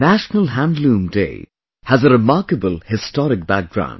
National Handloom Day has a remarkable historic background